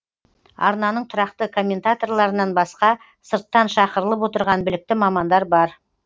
арнаның тұрақты комментаторларынан басқа сырттан шақырылып отырған білікті мамандар бар